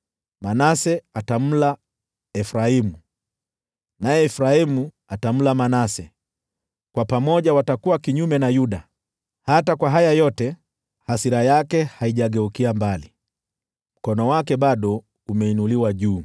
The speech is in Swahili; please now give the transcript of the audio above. Manase atamla Efraimu, naye Efraimu atamla Manase; nao pamoja watakuwa kinyume na Yuda. Hata kwa haya yote, hasira yake haijageukia mbali, mkono wake bado umeinuliwa juu.